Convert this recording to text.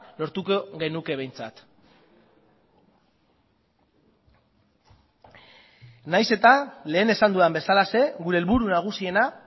lortuko genuke behintzat nahiz eta lehen esan dudan bezalaxe gure helburu nagusiena